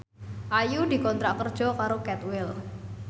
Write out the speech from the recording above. Ayu dikontrak kerja karo Cadwell